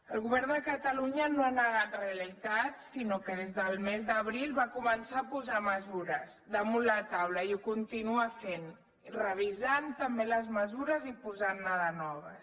el govern de catalunya no ha negat realitats sinó que des del mes d’abril va començar a posar mesures damunt la taula i ho continua fent revisant també les mesures i posantne de noves